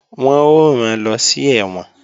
Wọ́n ó rán lọ sí ẹ̀wọ̀n